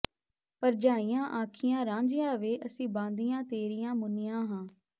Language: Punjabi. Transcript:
ਭਰਜਾਈਆਂ ਆਖਿਆ ਰਾਂਝਿਆ ਵੇ ਅਸੀਂ ਬਾਂਦੀਆਂ ਤੇਰੀਆਂ ਮੁੰਨੀਆਂ ਹਾਂ